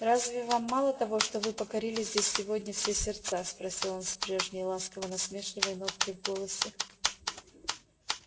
разве вам мало того что вы покорили здесь сегодня все сердца спросил он с прежней ласково-насмешливой ноткой в голосе